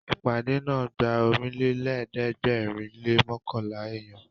Ìpàdé náà gba Ọ̀rìnlélẹ̀ẹ́dẹ́gbèrin lé mọ́kànlá èèyàn